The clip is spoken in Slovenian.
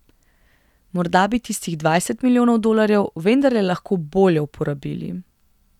Morda bi tistih dvajset milijonov dolarjev vendarle lahko bolje uporabili.